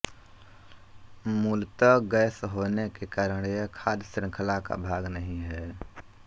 मूलत गैस होने के कारण यह खाद्य श्रृंखला का भाग नहीं है